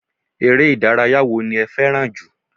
Eré ìdárayá wo ni fẹ́ràn jù